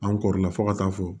An kɔrɔ la fo ka taa fɔ